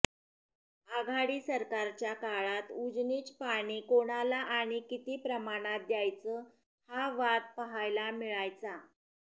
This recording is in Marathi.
आघाडी सरकारच्या काळात उजनीच पाणी कोणाला आणि किती प्रमाणात द्यायच हा वाद पहायला मिळायचा